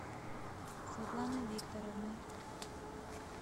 светланой викторовной